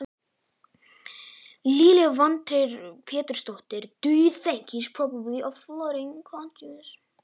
Lillý Valgerður Pétursdóttir: Telur þú líkur á flóðum áfram?